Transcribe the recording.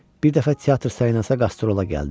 Bir dəfə teatr Salinasda qastrola gəldi.